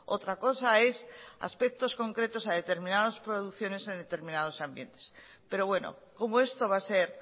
otra cosa es aspectos concretos a determinadas producciones en determinados ambientes pero bueno como esto va a ser